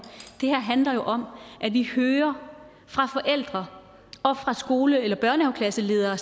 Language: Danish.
det her handler jo om at vi hører fra forældre og fra skole eller særlig børnehaveklasseledere